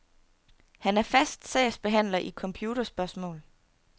Han er fast sagsbehandler i computerspørgsmål.